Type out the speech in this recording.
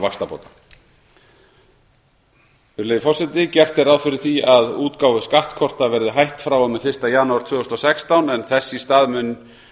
vaxtabóta virðulegi forseti gert er ráð fyrir því að útgáfu skattkorta verði hætt frá og með fyrsta janúar tvö þúsund og sextán en þess í stað